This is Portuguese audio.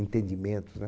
Entendimentos, né?